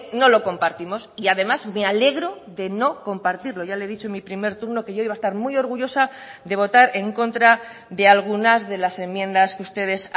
no lo compartimos y además me alegro de no compartirlo ya le he dicho en mi primer turno que yo iba a estar muy orgullosa de votar en contra de algunas de las enmiendas que ustedes